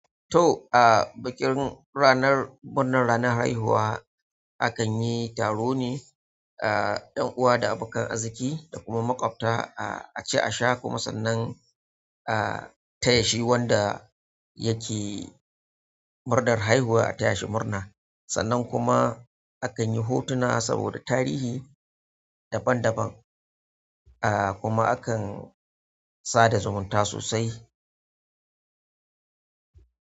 To, a bikin ranar murnar ranar haihuwa akan yi taro ne a ƴan'uwa da abokan arziki da kuma maƙwabta a ci a sha kuma sannan a taya shi wanda yake murnar haihuwa a taya shi murna. Sannan kuma akan yi hotuna saboda tarihi daban daban, a kuma akan sada zumunta sosai.